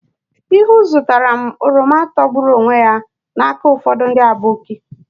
Ihuu zụtara m oroma togburu onwe ya n'aka ụfọdụ ndị aboki.